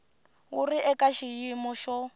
wu ri eka xiyimo xo